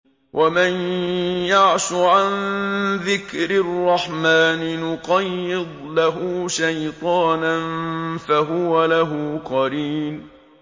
وَمَن يَعْشُ عَن ذِكْرِ الرَّحْمَٰنِ نُقَيِّضْ لَهُ شَيْطَانًا فَهُوَ لَهُ قَرِينٌ